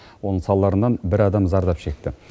оның салдарынан бір адам зардап шекті